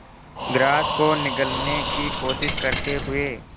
grass को निगलने की कोशिश करते हुए